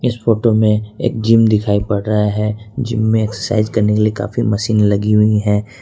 इस फोटो में एक जिम दिखाई पड़ रहा है जिम में एक्सरसाइज करने के लिए काफी मशीन लगी हुई है।